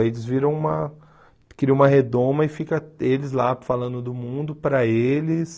Aí eles viram uma... Criam uma redoma e fica eles lá falando do mundo para eles...